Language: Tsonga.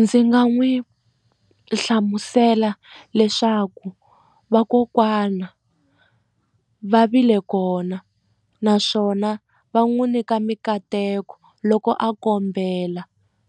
Ndzi nga n'wi hlamusela leswaku vakokwana va vile kona na swona va n'wi nyika mikateko loko a kombela